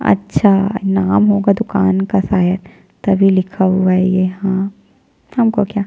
अच्छा नाम होगा दुकान का शायद तभी लिखा हुआ है ये हमको क्या--